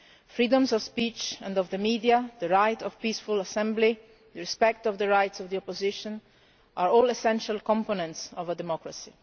Freedoms of speech and of the media, the right of peaceful assembly, respect for the rights of the opposition are all essential components of a democracy.